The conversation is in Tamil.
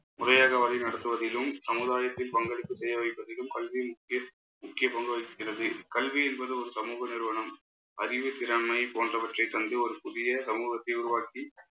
முறையாக வழி நடத்துவதிலும் சமுதாயத்தில் பங்களிப்பு செய்ய வைப்பதிலும் கல்வியின் முக்கிய முக்கிய பங்கு வகிக்கிறது. கல்வி என்பது ஒரு சமூக நிறுவனம். அறிவுத்திறன்மை போன்றவற்றை தந்து ஒரு புதிய சமூகத்தை உருவாக்கி